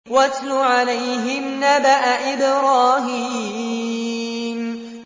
وَاتْلُ عَلَيْهِمْ نَبَأَ إِبْرَاهِيمَ